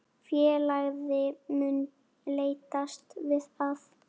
Félagið mun leitast við að